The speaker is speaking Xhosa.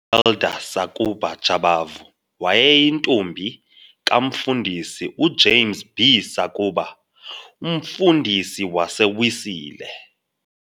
Elda Sakuba Jabavu, wayeyintombi kaMfundisi uJames B Sakuba, umfundisi waseWesile.